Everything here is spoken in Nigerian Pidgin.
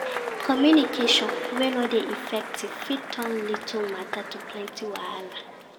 Communication wey no de effective fit turn little matter to plenty wahala